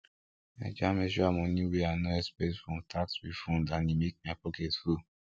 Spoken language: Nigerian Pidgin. i jam extra money wey i no expect from tax refund and e make my pocket full